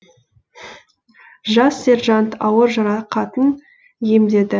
жас сержант ауыр жарақатын емдеді